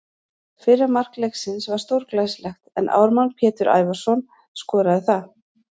Fyrra mark leiksins var stórglæsilegt en Ármann Pétur Ævarsson skoraði það.